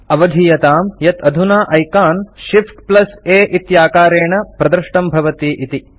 अवधीयतां यत् अधुना ऐकान् ShiftA इत्याकारेण प्रदृष्टं भवति इति